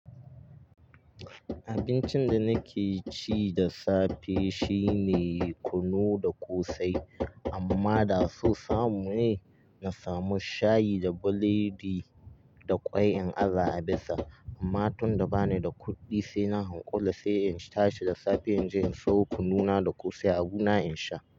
Abincin da nake ci da safe shine kunu da ƙosai. Amma da so samu ne, na samu shayi da biredi da ƙwai in aza a bisa. Amma tunda bani da kuɗi sai na hanƙura sai in tashi da safe in je in sawo kunu na da ƙosai abuna in sha.